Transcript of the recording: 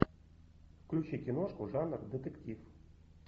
включи киношку жанр детектив